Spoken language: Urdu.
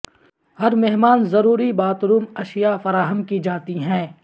ہر مہمان ضروری باتھ روم اشیاء فراہم کی جاتی ہیں